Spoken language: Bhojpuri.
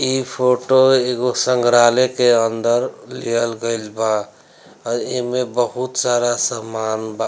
इ फोटो एगो संग्रहालय के अंदर लिहल गइल बा और इ में बहुत सारा सामान बा।